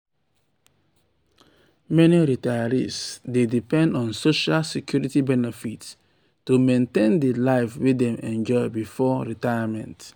meni retirees dey depend on social security benefits to maintain di life wey dem enjoy before retirement.